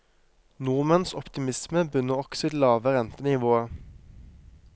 Nordmenns optimisme bunner også i det lave rentenivået.